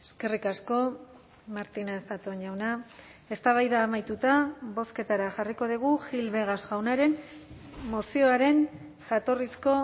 eskerrik asko martínez zatón jauna eztabaida amaituta bozketara jarriko dugu gil vegas jaunaren mozioaren jatorrizko